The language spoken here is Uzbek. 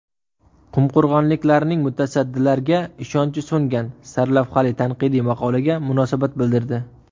Qumqo‘rg‘onliklarning mutasaddilarga ishonchi so‘ngan” sarlavhali tanqidiy maqolaga munosabat bildirdi.